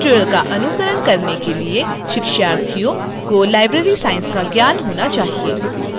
इस ट्यूटोरियल का अनुकरण करने के लिए शिक्षार्थियों को library science का ज्ञान होना चाहिए